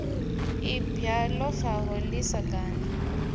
ibwa ḓo faho ḓi sagani